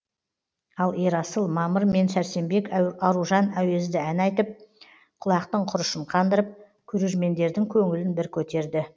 ал ерасыл мамыр мен сәрсенбек аружан әуезді ән айтып құлақтың құрышын қандырып көрермендердің көңілін бір көтерді